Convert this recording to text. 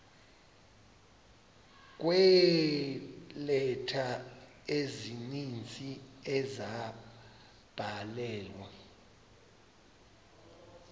kweeleta ezininzi ezabhalelwa